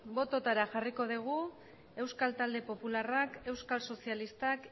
botoetara jarriko dugu euskal talde popularrak euskal sozialistak